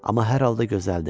Amma hər halda gözəl idi.